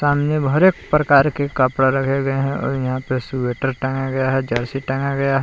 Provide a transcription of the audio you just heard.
उनमें हरेक प्रकार के कपड़े रखे गए है। और यहां पे स्वेटर टांगा गया है। जर्सी टांगा गया है।